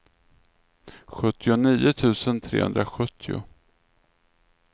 sjuttionio tusen trehundrasjuttio